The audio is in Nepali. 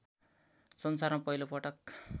संसारमा पहिलो पटक